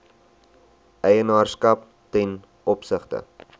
eienaarskap ten opsigte